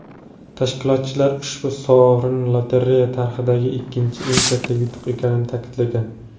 Tashkilotchilar ushbu sovrin lotereya tarixidagi ikkinchi eng katta yutuq ekanini ta’kidlagan.